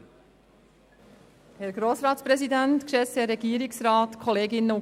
Frau Grossrätin Luginbühl erhält das Wort als Motionärin.